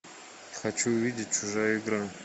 хочу увидеть чужая игра